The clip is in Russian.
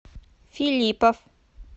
филиппов